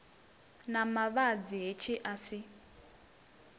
na mavhadzi hetshi a si